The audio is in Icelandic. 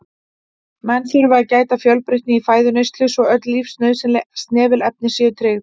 Menn þurfa að gæta fjölbreytni í fæðuneyslu svo öll lífsnauðsynleg snefilefni séu tryggð.